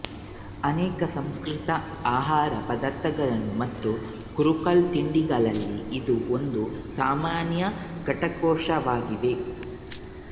ಅನೇಕ ಸಂಸ್ಕರಿತ ಆಹಾರ ಪದಾರ್ಥಗಳು ಮತ್ತು ಕುರುಕಲು ತಿಂಡಿಗಳಲ್ಲಿ ಇದು ಒಂದು ಸಾಮಾನ್ಯ ಘಟಕಾಂಶವಾಗಿದೆ